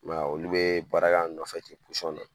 i m'a e olu bɛ baara kɛ an nɔfɛ ten na